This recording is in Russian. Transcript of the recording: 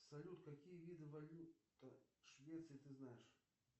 салют какие виды валют швеции ты знаешь